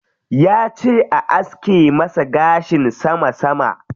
Yace a aske masa gashin sama sama.